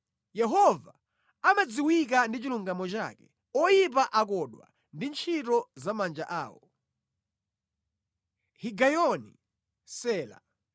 Yehova amadziwika ndi chilungamo chake; oyipa akodwa ndi ntchito za manja awo. Higayoni. Sela